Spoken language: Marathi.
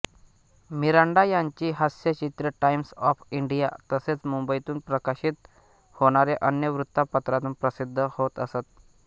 मिरांडा यांची हास्यचित्रे टाइम्स ऑफ इंडिया तसेच मुंबईतून प्रकाशित होणाऱ्या अन्य वृत्तपत्रांतून प्रसिद्ध होत असत